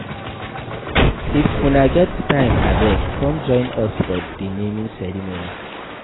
If una get time abeg come join us for the naming ceremony